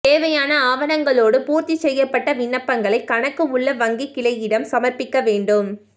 தேவையான ஆவணங்களோடு பூர்த்தி செய்யப்பட்ட விண்ணப்பங்களை கணக்கு உள்ள வங்கிக் கிளையிடம் சமர்ப்பிக்க வேண்டும்